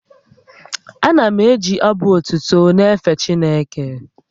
Ana m eji abụ otuto na-efe Chineke